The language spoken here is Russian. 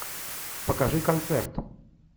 покажи концерт